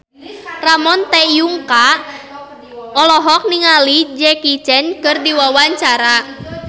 Ramon T. Yungka olohok ningali Jackie Chan keur diwawancara